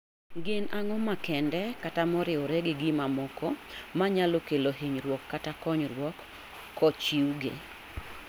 Gin ang'o makende kata moriwore gi ma moko manyalo kelo hinyruok kata konyruok kochiw gi